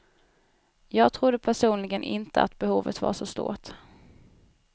Jag trodde personligen inte att behovet var så stort.